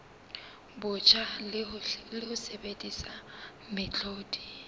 botjha le ho sebedisa mehlodi